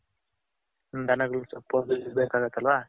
ಹ್ಮ್ಮ್ದ ನಗಳಗ್ ಸೊಪ್ಪು ಅದು ಇದು ಬೇಕಾಗುತ್ತ್ ಅಲ್ವ.